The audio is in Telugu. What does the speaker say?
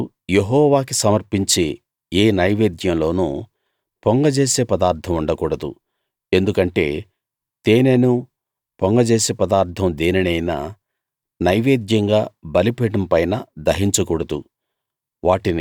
మీరు యెహోవాకి సమర్పించే ఏ నైవేద్యం లోనూ పొంగజేసే పదార్ధం ఉండకూడదు ఎందుకంటే తేనెనూ పొంగజేసే పదార్ధం దేనినైనా నైవేద్యంగా బలిపీఠం పైన దహించకూడదు